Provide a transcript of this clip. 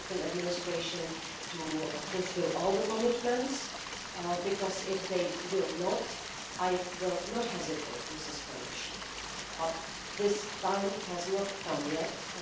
administration to fulfil all the commitments, because if they do not do so I will not hesitate to suspend the shield. But this time has not yet come.